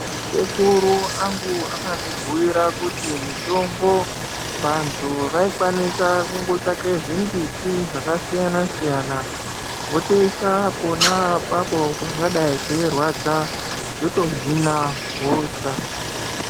Sekuru angu akandibhuira kuti mitombo vantu vaikwanisa kutsvake zvimbiti zvakasiyana siyana votoisa pona apapo pangadai peirwadza zvotohina hosha.